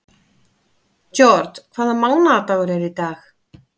George, hvaða mánaðardagur er í dag?